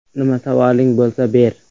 Nima savoling bo‘lsa, ber.